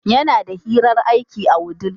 Yana da hirar aiki a wudil.